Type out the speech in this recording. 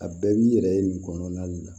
A bɛɛ b'i yɛrɛ ye nin kɔnɔna de la